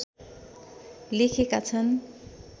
लेखेका छन्